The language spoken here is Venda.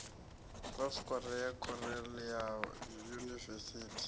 south korea khorale ya yunivesithi